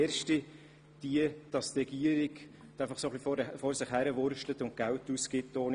Erstens gebe die Regierung einfach so Geld aus, ohne dass jemand mitsprechen könne.